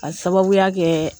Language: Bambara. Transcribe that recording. A sababuya kɛ